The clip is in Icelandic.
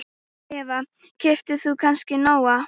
Eva: Keyptir þú kannski Nóa?